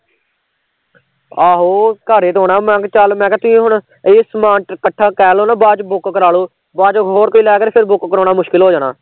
ਆਹੋ ਘਰੇ ਤੇ ਆਉਣਾ ਮੈ ਕਿਹਾਂ ਚੱਲ, ਤੁਸੀਂ ਹੁਣ ਏਹ ਸਮਾਨ ਕੱਠਾ ਕਹਿਲੋਂ ਨਾ ਬਾਦ ਚ book ਕਰਾ ਲਉ, ਬਾਦ ਚ ਹੋਰ ਕੋਈ ਲੈ ਗਿਆ ਫਿਰ book ਕਰਾਉਣਾ ਮੁਸ਼ਕਿਲ ਹੋ ਜਾਣਾ